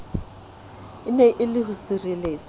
ene e le ho sireletswa